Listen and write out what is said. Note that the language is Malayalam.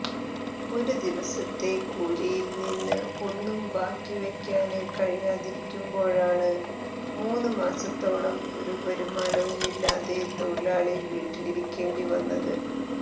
ഒരുദിവസത്തെ കൂലിയില്നിന്ന് ഒന്നും ബാക്കിവയ്ക്കാന് കഴിയാതിരിക്കുമ്പോഴാണ് മൂന്നുമാസത്തോളം ഒരു വരുമാനവുമില്ലാതെ തൊഴിലാളി വീട്ടിലിരിക്കേണ്ടിവന്നത്